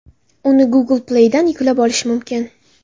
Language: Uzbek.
Uni Google Play’dan yuklab olish mumkin.